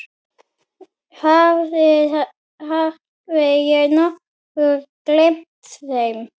Hafði ég nokkuð gleymt þeim?